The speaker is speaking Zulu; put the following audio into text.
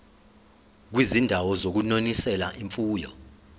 kwizindawo zokunonisela imfuyo